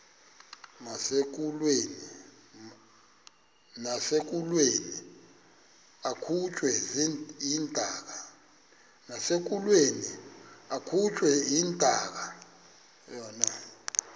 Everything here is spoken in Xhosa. nasekulweni akhutshwe intaka